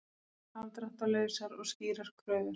Afdráttarlausar og skýrar kröfur